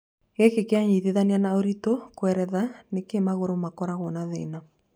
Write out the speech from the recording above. Gĩkĩ kĩanyitithanio na ũritũ kweretheraga nĩkĩ magũrũ makorago na thĩna.